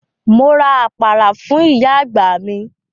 Mo ra àpárá fún ìyá àgbà mi.